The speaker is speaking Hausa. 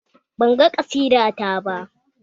Banga ƙasida ta ba